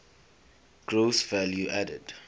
gross value added